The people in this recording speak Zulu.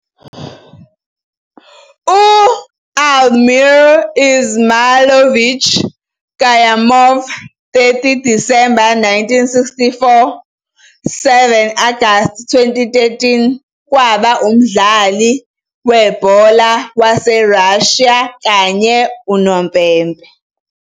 U-Almir Izmailovich Kayumov, 30 December 1964 - 7 Agasti 2013, kwaba umdlali webhola wase Russia kanye unompempe.